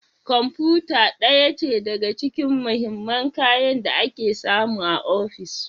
Kwamfuta ɗaya ce daga cikin mahimman kayan da ake samu a ofis